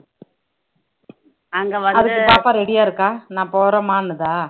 அதுக்கு பாப்பா ready ஆ இருக்கா நான் போறம்மான்னுதா